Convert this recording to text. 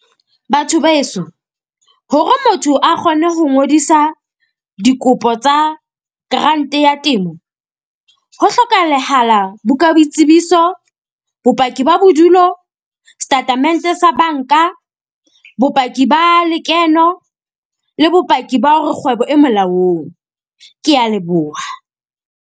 Batho ba heso hore motho a kgone ho ngodisa dikopo tsa grant-e ya temo, ho hlokahala buka ya boitsebiso, bopaki ba bodulo, setatamente sa banka, bopaki ba lekeno le bopaki ba hore kgwebo e molaong. Ke a leboha.